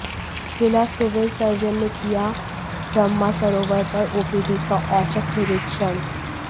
जिला civil surgeon ने किया ब्रह्मासरोवर पर ओपीडी का औचक निरीक्षण